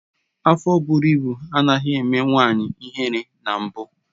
Afọ bụrụ ịbụ anaghị eme nwanyị ihere na mbụ